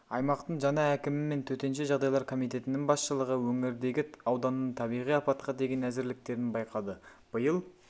аймақтың жаңа әкімі мен төтенше жағдайлар комитетінің басшылығы өңірдегі ауданның табиғи апатқа деген әзірліктерін байқады биыл